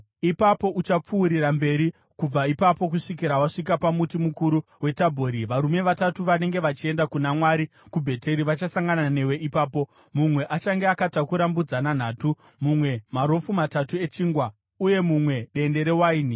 “Ipapo uchapfuurira mberi kubva ipapo kusvikira wasvika pamuti mukuru weTabhori. Varume vatatu vanenge vachienda kuna Mwari kuBheteri vachasangana newe ipapo. Mumwe achange akatakura mbudzana nhatu, mumwe marofu matatu echingwa, uye mumwe dende rewaini.